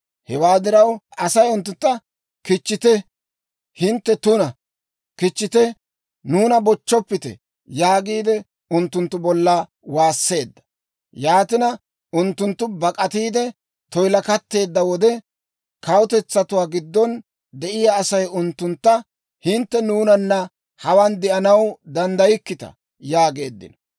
Hewaa diraw, Asay unttuntta, «Kichchite! Hintte tuna! Kichchite! Nuuna bochchoppite!» yaagiide unttunttu bolla waasseedda. Yaatina, unttunttu bak'atiide toyilakatteedda wode, kawutetsatuwaa giddon de'iyaa Asay unttuntta, «Hintte nuunanna hawaan de'anaw danddaykkita» yaageeddino.